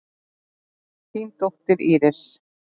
Þín dóttir, Íris.